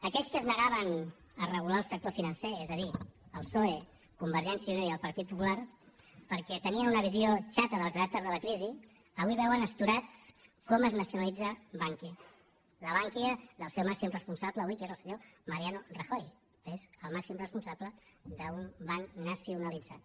aquells que es negaven a regular el sector financer és a dir el psoe convergència i unió i el partit popular perquè tenien una visió xata del caràcter de la crisi avui veuen astorats com es nacionalitza bankia la bankia del seu màxim responsable avui que és el senyor mariano rajoy és el màxim responsable d’un banc nacionalitzat